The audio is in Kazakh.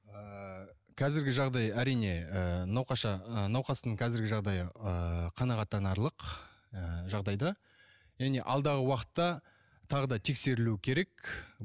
ыыы қазіргі жағдай әрине ыыы ы науқастың қазіргі жағдайы ыыы қанағаттанарлық ы жағдайда және алдағы уақытта тағы да тексерілуі керек